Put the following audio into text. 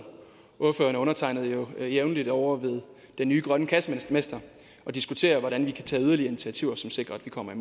ordføreren og undertegnede jo jævnligt ovre ved den nye grønne kassemester og diskuterer hvordan vi kan tage yderligere initiativer som sikrer at vi kommer